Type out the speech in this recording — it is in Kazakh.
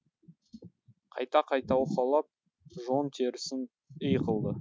қайта қайта уқалап жон терісін ій қылды